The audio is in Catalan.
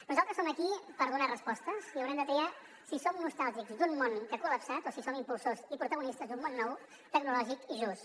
nosaltres som aquí per donar respostes i haurem de triar si som nostàlgics d’un món que s’ha col·lapsat o si som impulsors i protagonistes d’un món nou tecnològic i just